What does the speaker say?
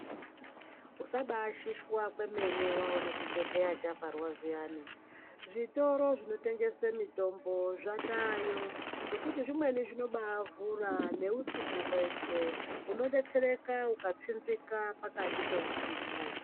Usabashishwa kwememe waona chibhedhleya chavharwa zviyani zvitoro zvinotengesa mitombo zvataayo zvekuti zvimweni zvinobaavhura neusiku hweshe unodetserwa ukatsinzika pakati peusiku.